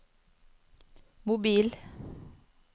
mobil